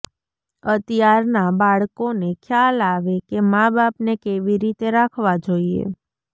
અતિયારના બાળકો ને ખ્યાલ આવેકે માબાપ ને કેવી રીતે રાખવા જોઈએ